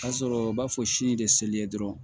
Ka sɔrɔ u b'a fɔ sini de seli ye dɔrɔn